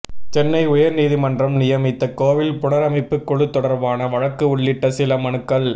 சென்னை உயர் நீதிமன்றம் நியமித்த கோவில் புனரமைப்பு குழு தொடர்பான வழக்கு உள்ளிட்ட சில மனுக்கள்